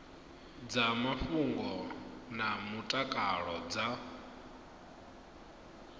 dza mafhungo na mutakalo dza